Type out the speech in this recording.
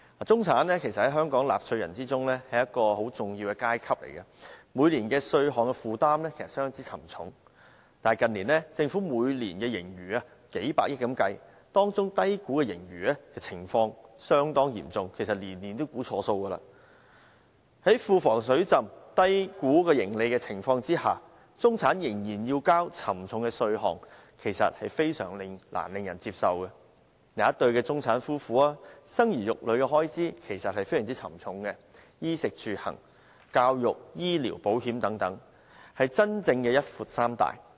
中產其實是本港很重要的納稅階層，每年的稅務負擔相當沉重，但近年，政府每年的盈餘均數以百億元計，低估盈餘的情況相當嚴重，其實每年均估算錯誤。在庫房"水浸"、低估收入的情況下，中產仍須負擔沉重的稅項，實在難以令人接受。一對中產夫婦生兒育女方面的負擔其實非常沉重，須負擔衣、食、住、行、教育、醫療和保險等方面的支出，是真正的"一闊三大"。